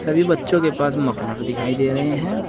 सभी बच्चों के पास मफलर दिखाई दे रहे हैं।